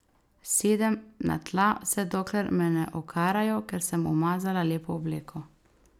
Sedem na tla, vse dokler me ne okarajo, ker sem umazala lepo obleko.